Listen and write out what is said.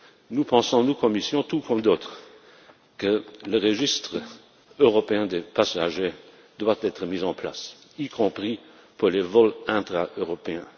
Nous, à la Commission, pensons, tout comme d'autres, que le registre européen des passagers doit être mis en place, y compris pour les vols intra européens.